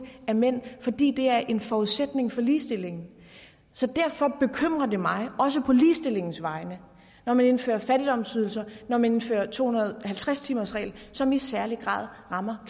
af mænd fordi det er en forudsætning for ligestilling så derfor bekymrer det mig også på ligestillingens vegne når man indfører fattigdomsydelser når man indfører to hundrede og halvtreds timers reglen som i særlig grad rammer